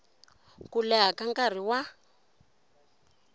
ku leha ka nkarhi wa